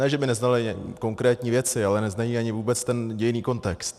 Ne že by neznali konkrétní věci, ale neznají ani vůbec ten dějinný kontext.